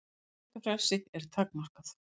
Tjáningarfrelsi er takmarkað